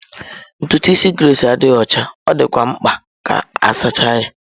Ntutu isi Grace adịghị ọcha, ọ dịkwa mkpa ka a sachaa ya..